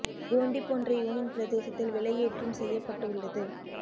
போண்டி போன்ற யூனியன் பிரதேசத்தில் விலை ஏற்றும் செய்ய பட்டு உள்ளது